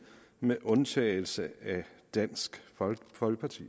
med undtagelse af dansk folkeparti